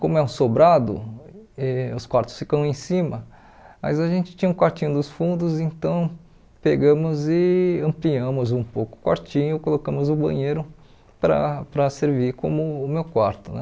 Como é um sobrado, eh os quartos ficam em cima, mas a gente tinha um quartinho dos fundos, então pegamos e ampliamos um pouco o quartinho, colocamos o banheiro para para servir como o meu quarto né.